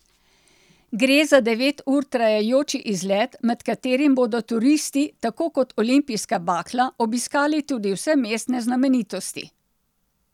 Gre za devet ur trajajoči izlet, med katerim bodo turisti, tako kot olimpijska bakla, obiskali tudi vse mestne znamenitosti.